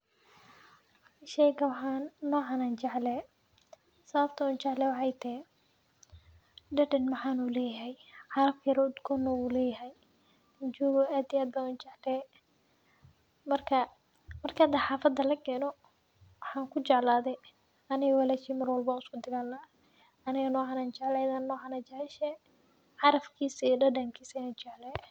Sheygan waxan nocaan an jeclehe, sababta an ujecelehe waxay tahay dadan ugdon uleyahay , caraf yar oo ugdon na uu leyahay, ad iyo ad ban ujeclehe. Marka hada xafada lakeno aniga iyo walashey mar walba wan uiskudagalnaah, aniga nocan jeclehe ayadana niocan ay jeceshehe, carafkisa iyo dadnkisa wanjeclhy.